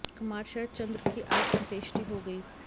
कुमार शरद चंद्र की आज अंत्येष्टि हो गई